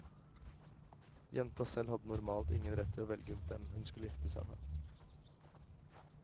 Jenta selv hadde normalt ingen rett til å velge hvem hun skulle gifte seg med.